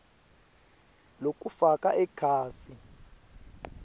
lokufaka ekhatsi